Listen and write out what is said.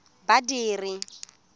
badiri